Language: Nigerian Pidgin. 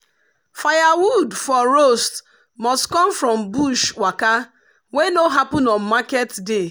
firewood for roast must come from bush waka wey no happen on market day.